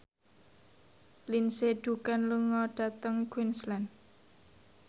Lindsay Ducan lunga dhateng Queensland